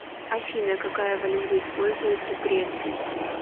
афина какая валюта используется в греции